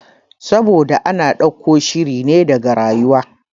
Saboda ana ɗauko shirine daga rayuwa